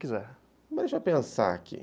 Deixa eu pensar aqui.